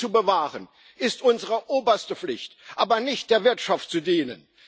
Sie zu bewahren, ist unsere oberste Pflicht, nicht der Wirtschaft zu dienen!